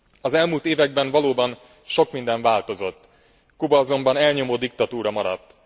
Az elmúlt években valóban sok minden változott, Kuba azonban elnyomó diktatúra maradt.